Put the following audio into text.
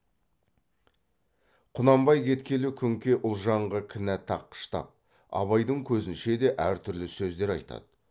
құнанбай кеткелі күнке ұлжанға кінә таққыштап абайдың көзінше де әртүрлі сөздер айтады